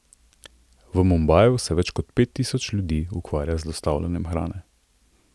V Mumbaju se več kot pet tisoč ljudi ukvarja z dostavljanjem hrane.